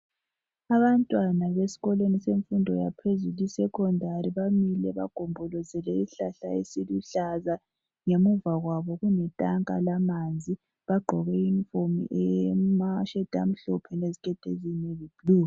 Abantwana besikolweni semfundo yaphezulu isekhondari bamile bagombolozele isihlahla esiluhlaza ngemuva kwabo kuletanka lamanzi, bagqoke iyunifomu eyemasheti amhlophe leziketi eziyibhulu.